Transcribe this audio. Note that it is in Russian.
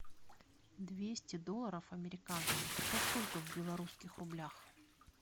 двести долларов американских это сколько в белорусских рублях